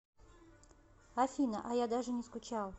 афина а я даже не скучал